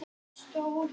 Trúði honum einum.